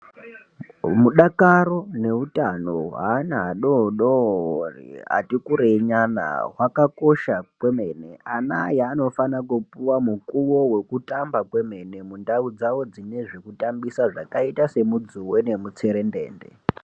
Mudakaro neutano hweana adodori atikurei nyana hwakakosha kwemene ana aya anofana kupuwa mukuwo wekutamba kwemene mundau dzawo dzine zvekutambisa zvakaita semudzuwe nemutserendende.